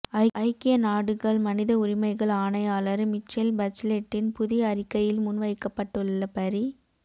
ஐக்கிய நாடுகள் மனித உரிமைகள் ஆணையாளர் மிச்செல் பச்லெட்டின் புதிய அறிக்கையில் முன்வைக்கப்பட்டுள்ள பரி